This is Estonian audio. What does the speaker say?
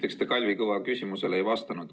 Esiteks, te Kalvi Kõva küsimusele ei vastanud.